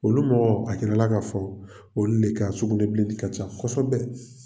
Olu mɔgɔw, a jirala k'a fɔ, olu de ka sugunɛbilenni ka ca kosɛbɛ.